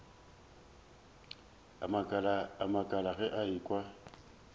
a makala ge a ekwa